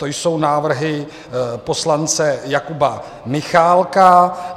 To jsou návrhy poslance Jakuba Michálka.